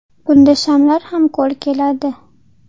Bunda shamlar ham qo‘l keladi.